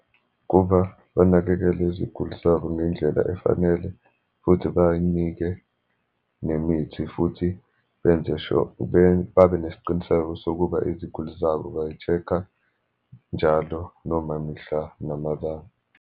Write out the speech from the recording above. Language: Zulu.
Kuba banakekele iziguli zabo ngendlela efanele, futhi bay'nike nemithi futhi benze sure, babe nesiqiniseko sokuba iziguli zabo bayi-check-a njalo, noma mihla namalanga.